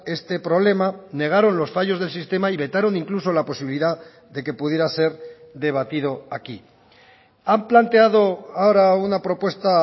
este problema negaron los fallos del sistema y vetaron incluso la posibilidad de que pudiera ser debatido aquí han planteado ahora una propuesta